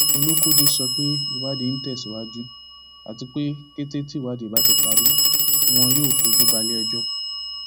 olókóde sọ pé ìwádìí ń tẹ síwájú àti pé ní kété tíwádìí bá ti parí ni wọn yóò fojú balẹẹjọ